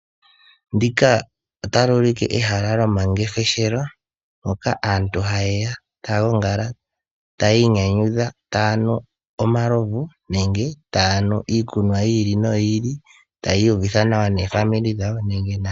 Ndika otali ulike ehala lyomangeshefelo moka aantu hayeya taya gongala taya inyanyudha, taya nu omalovu nenge taya nu iikunwa yi ili noyi ili , taya iyuvitha nawa noofamili dhawo nenge